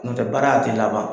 Nɔntɛ baara a tɛ laban.